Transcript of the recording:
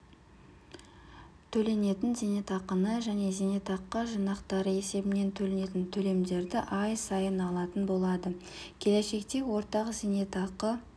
төленетін зейнетақыны және зейнетақы жинақтары есебінен төленетін төлемдерді ай сайын алатын болады келешекте ортақ зейнетақы